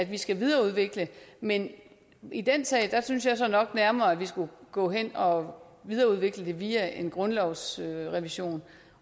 vi skal videreudvikle men i den sag synes jeg så nok nærmere at vi skulle gå hen og videreudvikle det via en grundlovsrevision